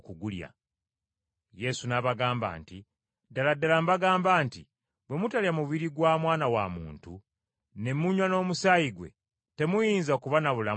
Yesu n’abagamba nti, “Ddala ddala mbagamba nti bwe mutalya mubiri gwa Mwana wa Muntu, ne munywa n’omusaayi gwe, temuyinza kuba na bulamu mu mmwe.